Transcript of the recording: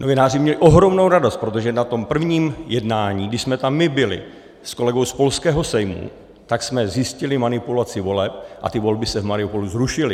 Novináři měli ohromnou radost, protože na tom prvním jednání, když jsme tam byli my s kolegou z polského Sejmu, tak jsme zjistili manipulaci voleb a ty volby se v Mariupolu zrušily.